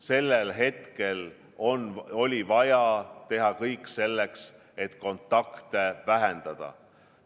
Sellel hetkel oli vaja teha kõik selleks, et kontakte vähendada.